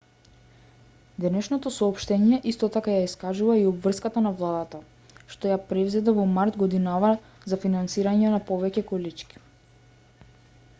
денешното соопштение исто така ја искажува и обврската на владата што ја презеде во март годинава за финансирање на повеќе колички